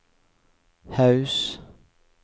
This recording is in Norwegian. Haus